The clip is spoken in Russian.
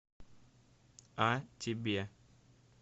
а тебе